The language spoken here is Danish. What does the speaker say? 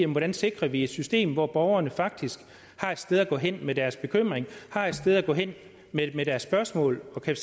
hvordan sikrer vi et system hvor borgerne faktisk har et sted at gå hen med deres bekymring har et sted at gå hen med deres spørgsmål og kan